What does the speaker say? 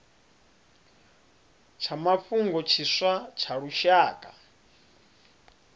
tsha mafhungo tshiswa tsha lushaka